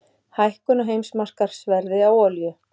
Hækkun á heimsmarkaðsverði á olíu